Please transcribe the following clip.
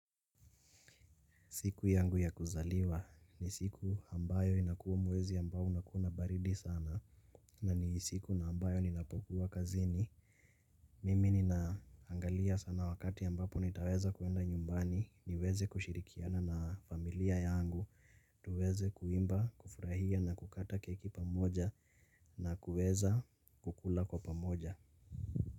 Siku yangu ya kuzaliwa ni siku ambayo inakuwa mwezi ambao unakuwa na baridi sana na ni siku na ambayo ninapokuwa kazini. Mimi ninaangalia sana wakati ambapo nitaweza kuenda nyumbani niweze kushirikiana na familia yangu tuweze kuimba, kufurahia na kukata keki pamoja na kuweza kukula kwa pamoja.